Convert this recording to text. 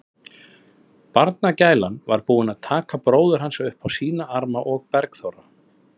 Barnagælan var búin að taka bróður hans upp á sína arma og Bergþóra